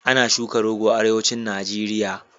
Ana shuka rogo a Arewacin Najeriya.